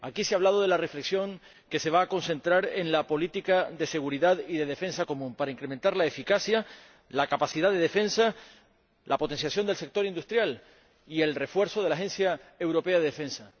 Aquí se ha hablado de la reflexión que se va a concentrar en la política de seguridad y defensa común para incrementar la eficacia, la capacidad de defensa, la potenciación del sector industrial y el refuerzo de la Agencia Europea de Defensa.